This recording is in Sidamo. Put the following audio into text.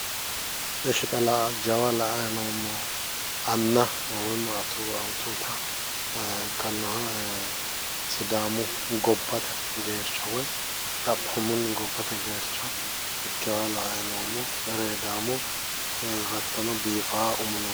Eshshi xa jawa la'anni noommohu jawa anna anna awutuutta ikkannoha sidaamu gobbate geercho woyi xaohoomunni gobbate geercho ereedaamo hattono biifawo umi no